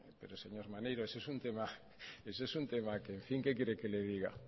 pero señor maneiro eso es un tema que en fin qué quiere que le diga